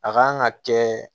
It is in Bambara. A kan ka kɛ